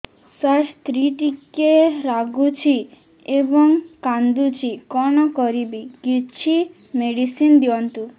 ସାର ସ୍ତ୍ରୀ ଟିକେ ରାଗୁଛି ଏବଂ କାନ୍ଦୁଛି କଣ କରିବି କିଛି ମେଡିସିନ ଦିଅନ୍ତୁ